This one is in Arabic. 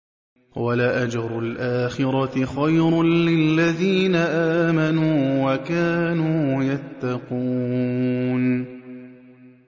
وَلَأَجْرُ الْآخِرَةِ خَيْرٌ لِّلَّذِينَ آمَنُوا وَكَانُوا يَتَّقُونَ